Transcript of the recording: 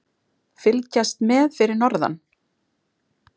Fylgjast með fyrir norðan